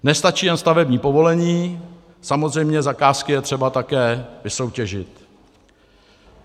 Nestačí jen stavební povolení, samozřejmě zakázky je třeba také vysoutěžit.